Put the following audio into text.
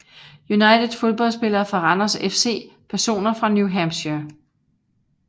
United Fodboldspillere fra Randers FC Personer fra New Hampshire